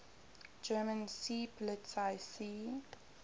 german seepolizei sea